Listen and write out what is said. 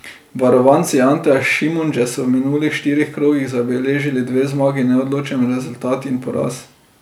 Varovanci Anteja Šimundže so v minulih štirih krogih zabeležili dve zmagi, neodločen rezultat in poraz.